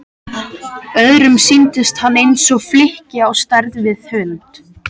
Öðrum sýndist hann eins og flykki á stærð við hund.